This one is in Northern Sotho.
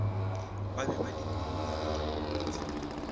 ba be ba dikologilwe kebobotse